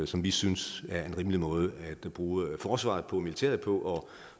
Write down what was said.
som vi synes er en rimelig måde at bruge forsvaret og militæret på og